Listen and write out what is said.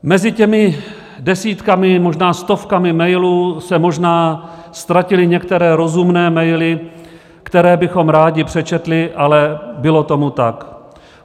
Mezi těmi desítkami, možná stovkami mailů se možná ztratily některé rozumné maily, které bychom rádi přečetli, ale bylo tomu tak.